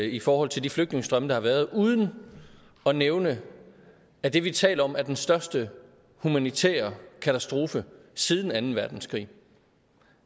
i forhold til de flygtningestrømme der har været uden at nævne at det vi taler om er den største humanitære katastrofe siden anden verdenskrig